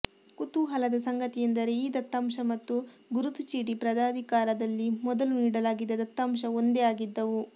ಕುತೂಹಲದ ಸಂಗತಿ ಎಂದರೆ ಈ ದತ್ತಾಂಶ ಮತ್ತು ಗುರುತು ಚೀಟಿ ಪ್ರಾಧಿಕಾರದಲ್ಲಿ ಮೊದಲು ನೀಡಲಾಗಿದ್ದ ದತ್ತಾಂಶ ಒಂದೇ ಆಗಿದ್ದವು